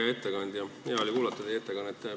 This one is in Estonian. Hea ettekandja, hea oli kuulata teie ettekannet.